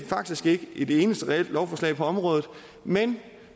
faktisk ikke et eneste reelt lovforslag på området men